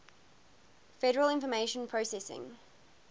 federal information processing